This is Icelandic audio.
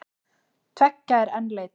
Tveggja er enn leitað.